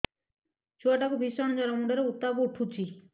ଛୁଆ ଟା କୁ ଭିଷଣ ଜର ମୁଣ୍ଡ ରେ ଉତ୍ତାପ ଉଠୁଛି